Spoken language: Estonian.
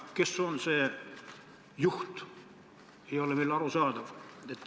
Kes on see juht, ei ole aru saada.